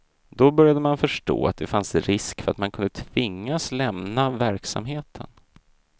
Då började man förstå att det fanns risk för att man kunde tvingas lämna verksamheten.